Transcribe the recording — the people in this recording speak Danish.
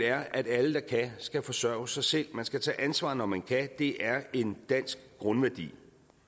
er at alle der kan skal forsørge sig selv man skal tage ansvar når man kan det er en dansk grundværdi